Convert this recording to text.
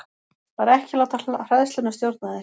Bara ekki láta hræðsluna stjórna þér.